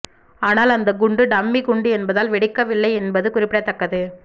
ஆனால் அந்த குண்டு டம்மி குண்டு என்பதால் வெடிக்கவில்லை என்பது குறிப்பிடத்தக்கது